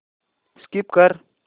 skip कर